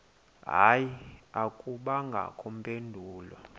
hayi akubangakho mpendulo